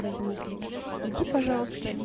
возникли иди пожалуйста и